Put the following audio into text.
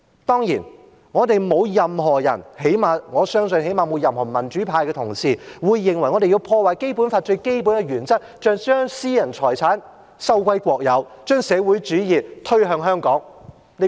當然，我們沒有任何人——我相信最少限度沒有任何民主派的同事——會認為我們要破壞《基本法》最基本的原則，要將私人財產收歸國有，將社會主義推向香港。